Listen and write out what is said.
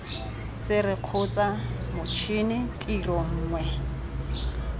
sere kgotsa matšhini tiro nngwe